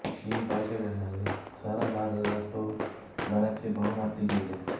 ಈ ಭಾಷೆಗಳಲ್ಲಿ ಸ್ವರಭಾರದ ಟೋನ್ ಬಳಕೆ ಬಹು ಮಟ್ಟಿಗೆ ಇದೆ